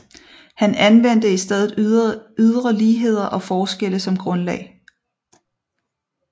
Han anvendte i stedet ydre ligheder og forskelle som grundlag